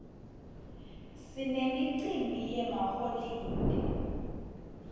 sinemicimbi yemaholide